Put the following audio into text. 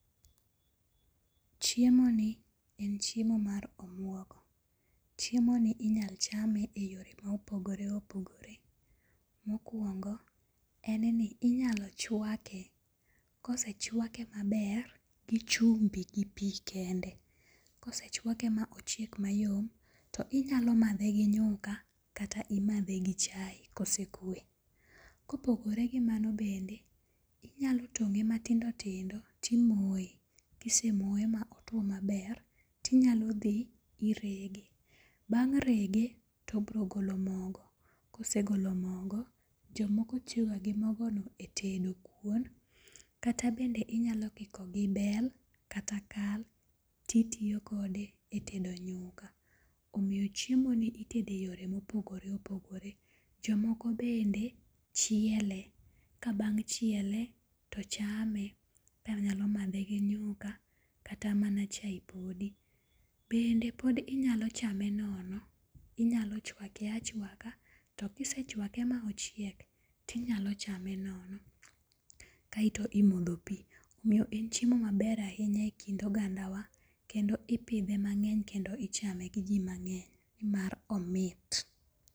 Chiemoni en chiemo mar omuogo. Chiemoni inyal chame e yore ma opogore opogore. Mokwongo, en ni inyalo chwake kosechwake maber gi chumbi gi pi kende. kosechwake ma ochiek mayom to inyalo madhe gi nyuka kata imadhe gi chae kosekwe. Kopogore gi mano bende, inyalo tong'e matindotindo timoye. Kisemoye ma otwo maber, tinyalo dhi irege. Bang' rege tobrogolo mogo, kosegolo mogoj omoko tiyoga gi mogono e tedo kuon kata bende inyalo kiko gi bel kata kal titiyo kode e tedo nyuka. Omiyo chiemoni itede yore mopogore opogore. Jomoko bende chiele, kabang' chiele tochame ka nyalo madhe gi nyuka kata mana chae podi. Bende podi inyalo chame nono. Inyalo chwake achwaka to kisechweake ma ochiek tinyalo chame nono kaeto imodho pi. Omiyo en chiemo maber ahinya e kind ogandawa kendo ipidhe mang'eny kendo ichame gi ji mang'eny nimar omit.